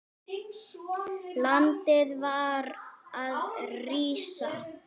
Landið var að rísa.